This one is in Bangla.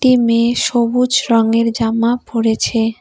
মেয়ে সবুজ রঙের জামা পড়েছে।